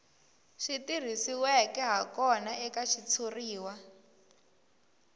swi tirhisiweke hakona eka xitshuriwa